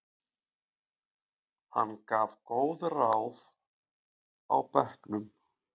Hann gaf góð ráð á bekknum.